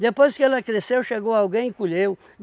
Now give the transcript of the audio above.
Depois que ela cresceu, chegou alguém e colheu.